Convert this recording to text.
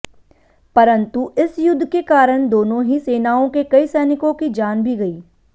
परन्तु इस युध्द के कारण दोनो ही सेनाओं के कई सैनिकों की जान भी गयी